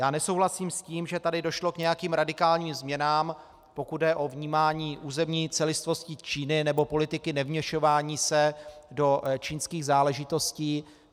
Já nesouhlasím s tím, že tady došlo k nějakým radikálním změnám, pokud jde o vnímání územní celistvosti Číny nebo politiky nevměšování se do čínských záležitostí.